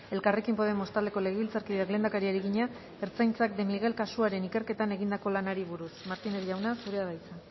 elkarrekin podemos taldeko legebiltzarkideak lehendakariari egina ertzaintzak de miguel kasuaren ikerketan egindako lanari buruz martínez jauna zurea da hitza